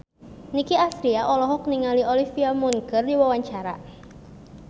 Nicky Astria olohok ningali Olivia Munn keur diwawancara